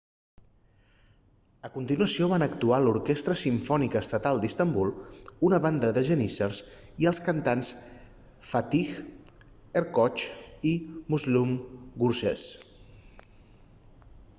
a continuació van actuar l'orquestra simfònica estatal d'istanbul una banda de geníssers i els cantants fatih erkoç i müslüm gürses